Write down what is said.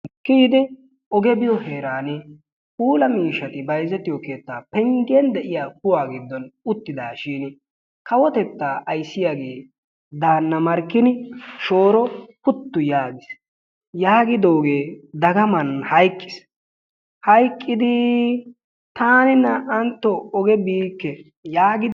Kiyide oge biyoo heeran puula miishshati bayzzetiyo penggen de'iya kuwaa giddon uttidaashin kawotettaa ayssiyaagee daana Markkin shooro putti yaagiis. Yagidooge dagaman hayqqiis. Hayqqidi taani naa''antto oge biike yaagi ...